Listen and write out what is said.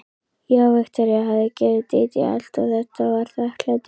Já, Viktoría hafði gefið Dídí allt og þetta var þakklætið.